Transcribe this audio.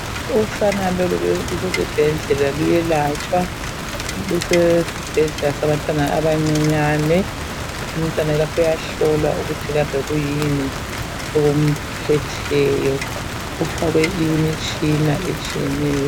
Usana lolu lusesibhedlela luyelatshwa, lusesibhedlela sabantwana abancinyane. Umntwana lapha uyahlolwa ukuthi kambe kuyini okumphetheyo, ufakwe imitshina etshiyeneyo.